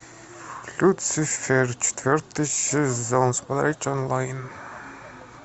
люцифер четвертый сезон смотреть онлайн